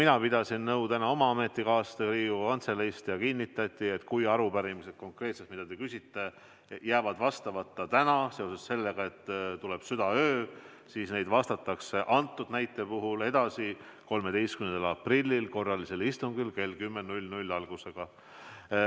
Ma pidasin täna nõu oma ametikaaslastega Riigikogu Kantseleist ja mulle kinnitati, et kui arupärimised, mis te esitasite, jäävad täna vastamata seoses sellega, et südaöö jõuab kätte, siis neile vastatakse 13. aprillil korralisel istungil algusega kell 10.